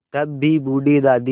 तब भी बूढ़ी दादी